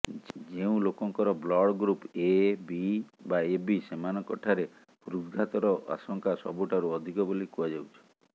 ଯେଉଁ ଲୋକଙ୍କର blood group A B ବା ଏବି ସେମାନଙ୍କଠାରେ ହୃଦଘାତର ଆଶଙ୍କା ସବୁଠାରୁ ଅଧିକ ବୋଲି କୁହାଯାଉଛି